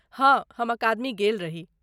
हँ, हम अकादमी गेल रही।